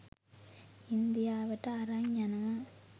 ඉන්දියාවට අරන් යනවා.